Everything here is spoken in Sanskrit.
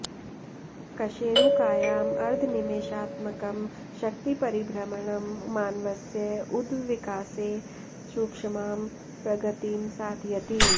कशेरुकायाम् अर्धनिमेषात्मकं शक्तिपरिभ्रमणं मानवस्य उद्विकासे सूक्ष्मां प्रगतिं साधयति